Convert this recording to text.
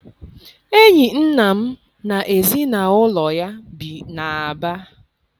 Enyi nna m n'ezinụlọ ya bi n'Aba.